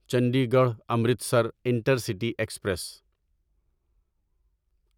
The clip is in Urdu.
Chandigarh Amritsar intercity express